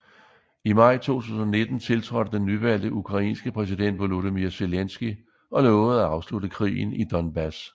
I maj 2019 tiltrådte den nyvalgte ukrainske præsident Volodymyr Zelenskyj og lovede at afslutte krigen i Donbas